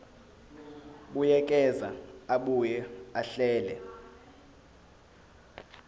buyekeza abuye ahlele